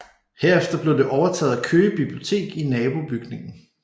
Herefter blev det overtaget af Køge Bibliotek i nabobygningen